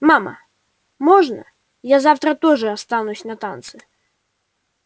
мама можно я завтра тоже останусь на танцы